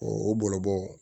o bɔlɔbɔ